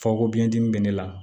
Fako biɲɛ dimi bɛ ne la